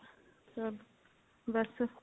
ਸਬ ਬਸ